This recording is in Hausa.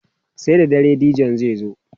sai da dare DJ zai zo